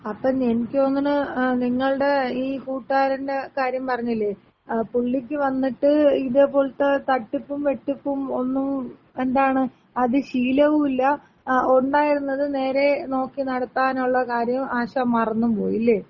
അപ്പൊ എനിക്ക് തോന്ന്ണ് നിങ്ങള്ടെ ഈ കൂട്ട്കാരന്‍റ കാര്യം പറഞ്ഞില്ലേ. പുള്ളിക്ക് വന്നിട്ട് ഇതെപോലത്തെ തട്ടിപ്പും വെട്ടിപ്പും ഒന്നും എന്താണ് അത് ശീലവുല്ല, ഒണ്ടായിരുന്നത് നേരെ നോക്കി നടത്താനുള്ള കാര്യം ആശാൻ മറന്നും പോയി. ഇല്ലേ?